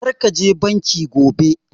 Kar ka je banki gobe!